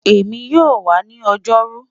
Emi yoo wa ni Ojoru